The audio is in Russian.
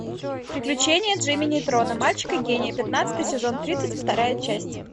приключения джимми нейтрона мальчика гения пятнадцатый сезон тридцать вторая часть